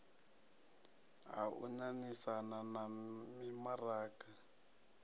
ha u ṋaṋisana na mimaraga